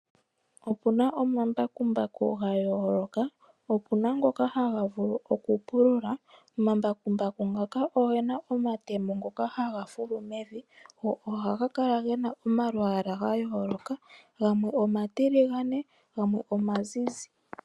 Opuna omambakumbaku ga yooloka, opuna ngoka haga vulu okupulula. Omambakumbaku ngaka ogena omatemo ngoka haga fulu mevi go ohaga kala gena omalwaala ga yooloka gamwe omatiligane, gamwe omazizi.